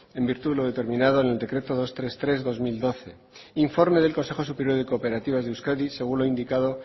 en virtud de lo determinado en el decreto doscientos treinta y tres barra dos mil doce informe del consejo superior y cooperativas de euskadi según lo indicado